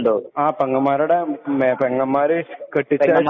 ആ പെങ്ങമ്മാരുടെ ആ പെങ്ങമ്മര്